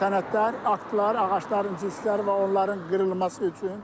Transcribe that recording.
Sənədlər, aktlar, ağacların cüsləri və onların qırılması üçün.